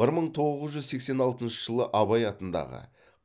бір мың тоғыз жүз сексен алтыншы жылы абай атындағы